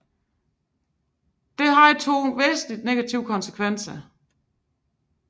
Det havde to væsentlige negative konsekvenser